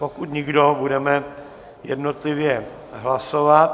Pokud nikdo, budeme jednotlivě hlasovat.